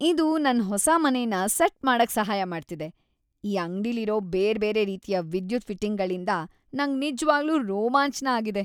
ಇದು ನನ್ ಹೊಸ ಮನೆನ ಸೆಟ್ ಮಾಡಕ್ ಸಹಾಯ ಮಾಡ್ತಿದೆ. ಈ ಅಂಗ್ಡಿಲಿರೋ ಬೇರ್ ಬೇರೆ ರೀತಿಯ ವಿದ್ಯುತ್ ಫಿಟ್ಟಿಂಗ್ಗಳಿಂದ್ ನಂಗ್ ನಿಜ್ವಾಗ್ಲೂ ರೋಮಾಂಚ್ನ ಆಗಿದೆ.